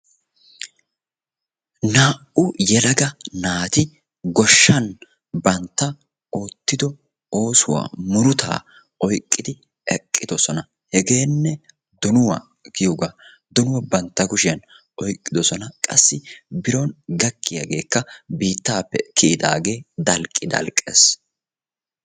Naa'u yeelaga naati goshshan bantta ottido oosuwa murutaa oyqqidi eqqidosona. Hegene doonuwa giyoga. Donuwaa bantta kushiyan oyqidosona. Qassi biron gakiyage biitape kiyidage dalqidalqees.